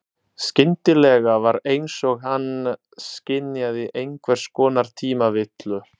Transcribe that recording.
Skyndilega var einsog hann skynjaði einhvers konar tímavillu.